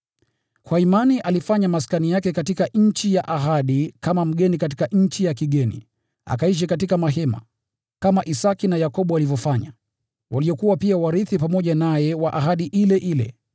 Kwa imani alifanya maskani yake katika nchi ya ahadi kama mgeni katika nchi ya kigeni; aliishi katika mahema, kama Isaki na Yakobo walivyofanya, waliokuwa pia warithi pamoja naye wa ahadi ile ile.